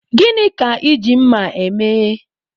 Gịnị ka Ị ji mma eme?